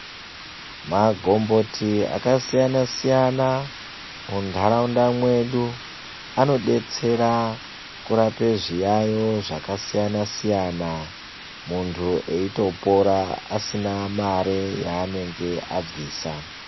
Magomboti akasiyana-siyana munharaunda mwedu anobetsera kurapa zviyaiyo zvakasiyana-siyana. Muntu eitopora asina mare yaanenge abvisa.